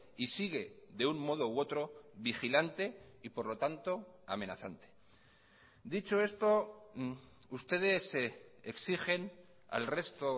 y sigue de un modo u otro vigilante y por lo tanto amenazante dicho esto ustedes exigen al resto